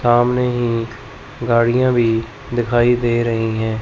सामने ही गाड़ियां भी दिखाई दे रही हैं।